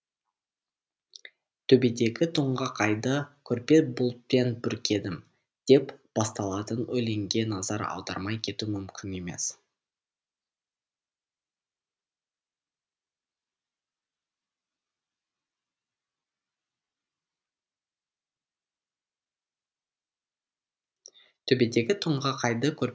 төбедегі тоңғақ айды көрпе бұлтпен бүркедім деп басталатын өлеңге назар аудармай кету мүмкін емес